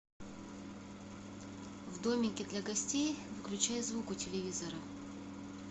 в домике для гостей выключай звук у телевизора